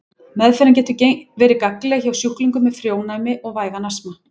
Meðferðin getur verið gagnleg hjá sjúklingum með frjónæmi og vægan astma.